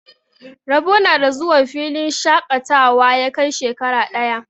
Rabo na da zuwa filin shaƙatawa ya kai shekara ɗaya.